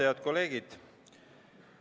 Head kolleegid!